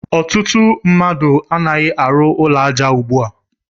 Ọtụtụ mmadụ a naghi arụ ụlọ aja ugbua.